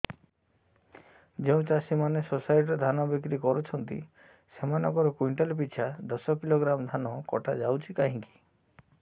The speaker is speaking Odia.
ଯେଉଁ ଚାଷୀ ମାନେ ସୋସାଇଟି ରେ ଧାନ ବିକ୍ରି କରୁଛନ୍ତି ସେମାନଙ୍କର କୁଇଣ୍ଟାଲ ପିଛା ଦଶ କିଲୋଗ୍ରାମ ଧାନ କଟା ଯାଉଛି କାହିଁକି